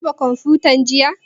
Ka duba kwamfutan jiya?